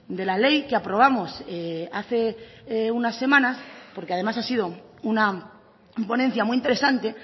de la ley que aprobamos hace unas semanas porque además ha sido una ponencia muy interesante